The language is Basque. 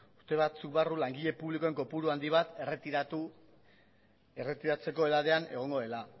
urte batzuk barru langile publikoen kopuru handi bat erretiratzeko edadean egongo dela